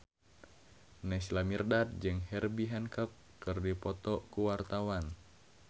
Naysila Mirdad jeung Herbie Hancock keur dipoto ku wartawan